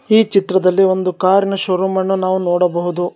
ಈ ಚಿತ್ರದಲ್ಲಿ ಒಂದು ಕಾರಿನ ಶೋರೂಮ್ ಅನ್ನು ನಾವು ನೋಡಬಹುದು.